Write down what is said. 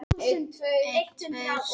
Hún lýsti fullum stuðningi við það